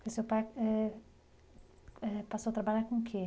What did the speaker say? O seu pai eh eh passou a trabalhar com o quê?